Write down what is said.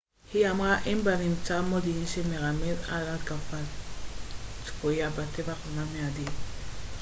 היא אמרה אין בנמצא מודיעין שמרמז על התקפה צפויה בטווח זמן מיידי